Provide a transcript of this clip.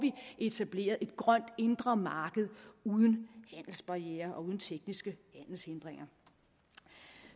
etableret et grønt indre marked uden handelsbarrierer og uden tekniske handelshindringer